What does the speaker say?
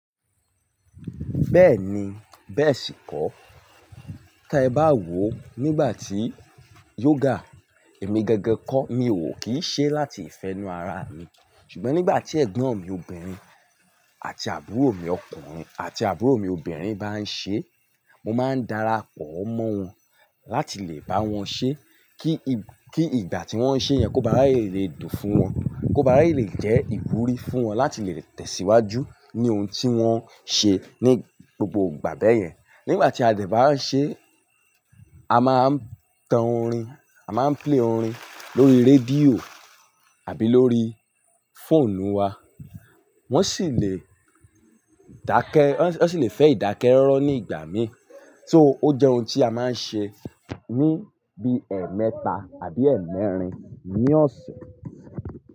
Bẹ́ẹ̀ni, bẹ́ẹ̀ sì kọ́. Tí ẹ bá wò nígbà tí yoga èmi gangan kọ́ mi ò kí ṣe láti ìfẹ́nu ara mi, ṣùgbọ́n nígbà tí ẹ̀gbọ́n mi obìnrin àti àbúrò mi ọkùnrin àti àbúrò mi obìnrin bá ń ṣe, mo máa ń dara pọ̀ mọ́ wọn láti lè bá wọn ṣe kí, kí ìgbà tí wọ́n ṣe yẹn kó bá r'àyè le dùn fún wọn, kó bá r'àyè lè jẹ́ ìwúrí fún wọn láti lè tẹ̀síwájú ní ohun tí wọ́n ṣe ní gbogbo ìgbà bẹ́yẹn. Nígbà tí a dẹ̀ bá n ṣe, a máa ń tan orin, a máa ń play orin lórí rédíò àbí lórí fóònù wa. Wón sì lè dáké, wón sì lè fe ìdákéróró ní gbà míì, so, ó jé ohun tí a máà n se ní bíi èmeta àbi èmerin ní òsè.